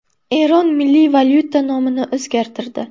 Eron milliy valyuta nomini o‘zgartirdi.